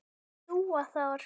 Dúa þar.